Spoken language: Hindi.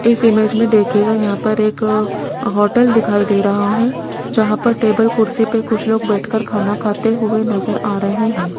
इस इमेज में देखिएगा यहां पर एक होटल दिखाई दे रहा है जहां पर टेबल कुर्सी पे कुछ लोग बैठकर खाना खाते हुए नजर आ रहे हैं।